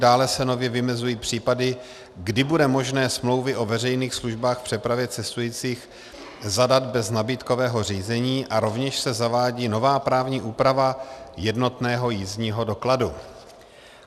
Dále se nově vymezují případy, kdy bude možné smlouvy o veřejných službách v přepravě cestujících zadat bez nabídkového řízení, a rovněž se zavádí nová právní úprava jednotného jízdního dokladu.